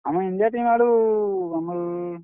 ଆମର୍ India team ଆଡୁ ଆମର୍।